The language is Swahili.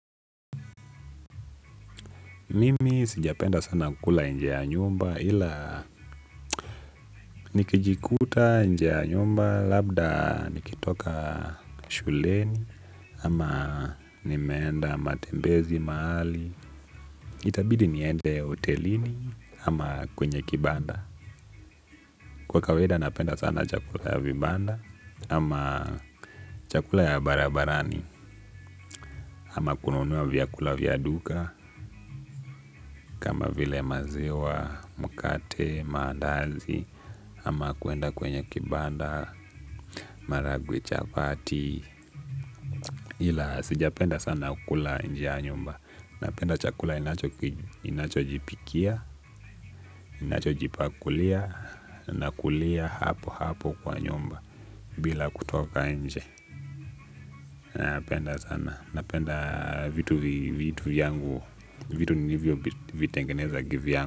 Mimi sijapenda sana kukula nje ya nyumba ila nikijikuta nje ya nyumba labda nikitoka shuleni ama nimenda matembezi maali. Itabidi niende ya hotelini ama kwenye kibanda. Kwa kaweda napenda sana chakula ya vibanda ama chakula ya barabarani ama kununua vyakula vya duka kama vile maziwa, mkate, maandazi, ama kuenda kwenye kibanda, maragwe chapati ila sijapenda sana ukula nje ya nyumba napenda chakula inacho jipikia, inacho jipakulia, nakulia hapo hapo kwa nyumba bila kutoka nje, napenda sana, napenda vitu vyangu, vitu nivyo vitengeneza kivyangu.